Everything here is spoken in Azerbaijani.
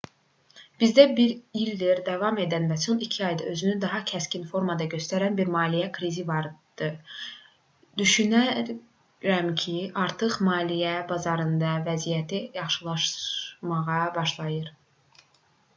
bizdə bir ildir davam edən və son iki ayda özünü daha kəskin formada göstərən bir maliyyə krizi vardı düşünürəm ki artıq maliyyə bazarlarının vəziyyəti yaxşılaşmağa başlayır